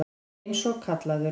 Eins og kallaður.